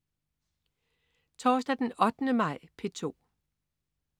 Torsdag den 8. maj - P2: